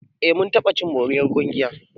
Eh mun taɓa cin moriyar ƙungiyarmu.